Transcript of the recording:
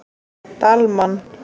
Dalmann